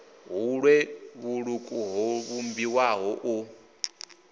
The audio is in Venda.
vhuṋwe vhuṱuku ho vhumbiwaho u